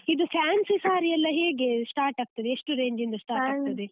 ಇದು fancy saree ಎಲ್ಲ ಹೇಗೆ start ಆಗ್ತದೆ ಎಷ್ಟು range ಇಂದ start ಆಗ್ತದೆ?